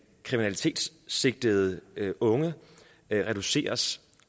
kriminalitetssigtede unge reduceres